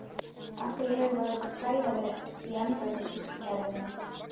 Af hverju hefur þá þessi tregða verið í embættismannakerfinu?